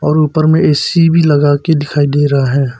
और ऊपर में ए_सी भी लगा के दिखाई दे रहा है।